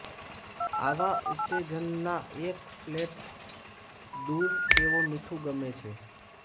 આવા ઉત્તેજના એક ફ્લોટ દૂર તેઓ મીઠું ગમે છે